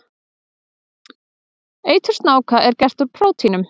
Eitur snáka er gert úr prótínum.